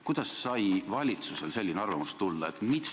Kuidas sai valitsusel selline arvamus tulla?